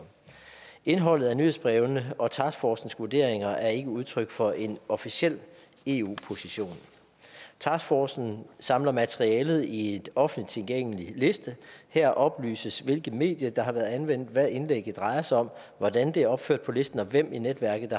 indholdet af nyhedsbrevene og taskforcens vurderinger er ikke udtryk for en officiel eu position taskforcen samler materialet i en offentligt tilgængelig liste her oplyses hvilke medier der har været anvendt hvad indlægget drejer sig om hvordan det er opført på listen og hvem i netværket